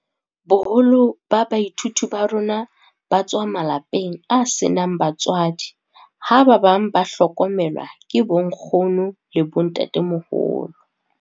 "Boholo ba baithuti ba rona ba tswa malapeng a senang batswadi ha ba bang ba hlokomelwa ke bonkgono le bontatemoholo."